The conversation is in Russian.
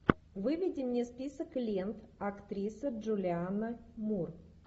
выведи мне список лент актриса джулианна мур